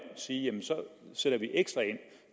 sige jamen så sætter vi ekstra ind